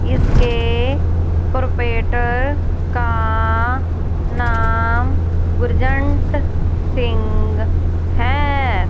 इसके प्रोपेटर का नाम गुरजंट सिंह है।